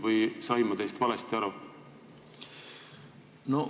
Või sain ma teist valesti aru?